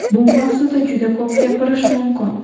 Bu mavzuda juda ko‘p gapirish mumkin.